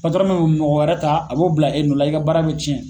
Patɔrɔn mɛ mɔgɔ wɛrɛ ta a b'o bila e nɔ la i ka baara bɛ cɛn.